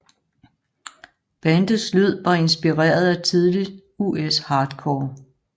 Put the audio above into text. Bandets lyd var inspireret af tidlig US hardcore